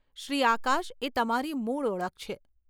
શ્રી આકાશ એ તમારી મૂળ ઓળખ છે.